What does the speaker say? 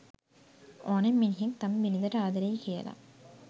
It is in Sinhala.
ඕනෙම මිනිහෙක් තම බිරිඳට ආදරෙයි කියලා